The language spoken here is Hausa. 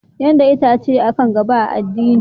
Yadda ita ce kan gaba a addini.